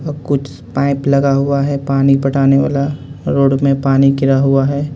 और कुछ पाइप लगा हुआ है पानी पटाने वाला रोड में पानी गिरा हुआ है.